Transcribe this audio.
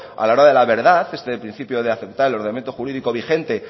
a la hora de la verdad este principio de aceptar el ordenamiento jurídico vigente